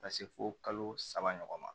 Ka se fo kalo saba ɲɔgɔn ma